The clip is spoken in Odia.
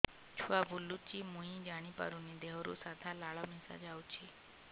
ଛୁଆ ବୁଲୁଚି ମୁଇ ଜାଣିପାରୁନି ଦେହରୁ ସାଧା ଲାଳ ମିଶା ଯାଉଚି